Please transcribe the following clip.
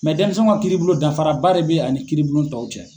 dɛnmisɛnw ka kiiribulon dafaraba de bɛ ani kiiribulon tɔw cɛ.